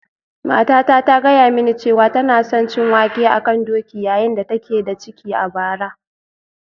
Matata ta gaya mini cewa tana son cin wake a kan doki yayin da take da ciki a bara